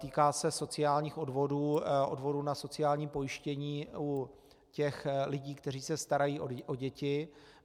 Týká se sociálních odvodů, odvodů na sociální pojištění u těch lidí, kteří se starají o děti.